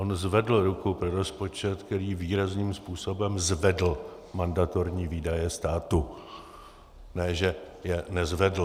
On zvedl ruku pro rozpočet, který výrazným způsobem zvedl mandatorní výdaje státu, ne že je nezvedl.